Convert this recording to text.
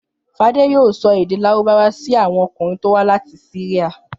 Fadé yóò sọ èdè Lárúbáwá sí àwọn ọkùnrin tó wá láti Syria.